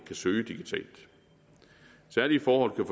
kan søge digitalt særlige forhold kan